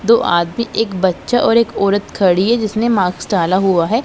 दो आदमी एक बच्चा और एक औरत खड़ी है जिसने माक्स डाला हुआ है।